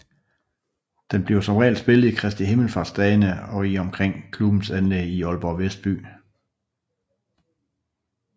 Den bliver som regel spillet i Kristi Himmelsfartsdagene i og omkring klubbens anlæg i Aalborg Vestby